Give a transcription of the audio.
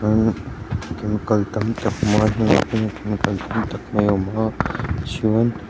ahh chemical tam tak awm a hnungah khian chemical tam tak awm a chuan--